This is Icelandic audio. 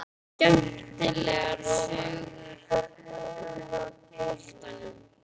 Skemmtilegar sögur úr boltanum?